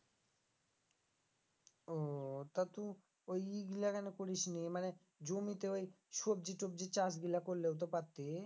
ও তা তু ওই ই গুলা কেনে করিস নি মানে জমিতে ওই সবজি টবজি চাষ গুলা করলেও তো পারতি